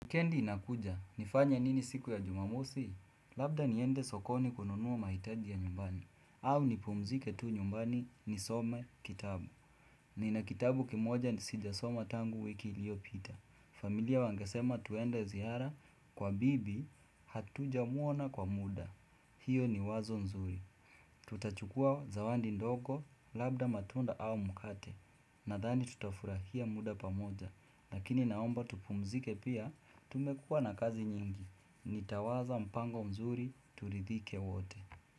Wikendi inakuja, nifanye nini siku ya jumamosi? Labda niende sokoni kununua mahitaji ya nyumbani au nipumzike tu nyumbani nisome kitabu Nina kitabu kimoja ni sijasoma tangu wiki ilio pita familia wangesema tuende zihara kwa bibi hatuja mwona kwa muda hiyo ni wazo nzuri Tutachukua zawandi ndogo labda matunda au mkate Nadhani tutafurahia muda pamoja Lakini naomba tupumzike pia tumekua na kazi nyingi Nitawaza mpango mzuri turidhike wote.